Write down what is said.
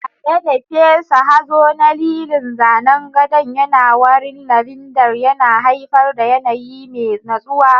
Tare da fesa hazo na lilin, zanen gadon yana warin lavender, yana haifar da yanayi mai natsuwa.